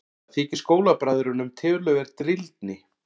Það þykir skólabræðrunum töluverð drýldni.